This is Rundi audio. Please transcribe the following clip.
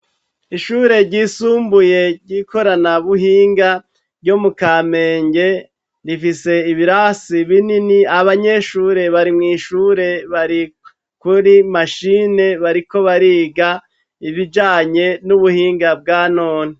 Ishure ryisumbuye ryikorana buhinga ryo mu kamenge rifise ibirasi binini abanyeshure bari mwishure bari kuri mashine bariko bariga ibijanye nubuhinga bwa none